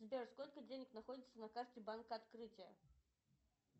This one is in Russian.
сбер сколько денег находится на карте банка открытие